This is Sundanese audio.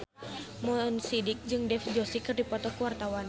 Mo Sidik jeung Dev Joshi keur dipoto ku wartawan